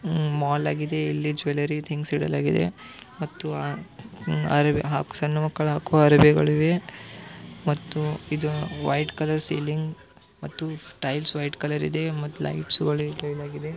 ಉಮ್ mall ಆಗಿದೆ. ಇಲ್ಲಿ jewellery things ಇಡಲಾಗಿದೆ ಮತ್ತು ಅಹ್ ಅರಬಿ ಹಾಕ್ ಸಣ್ಣ ಮಕ್ಕಳು ಹಾಕುವ ಅರಬಿಗಳಿವೆ ಮತ್ತು ಇದು ವೈಟ್ ಕಲರ್ ಸೀಲಿಂಗ್ ಮತ್ತು ಟೈಲ್ಸ್ ವೈಟ್ ಕಲರ್ ಇದೆ ಮತ್ತು ಲೈಟ್ಸಗಳು ಇಡಲಾಗಿದೆ.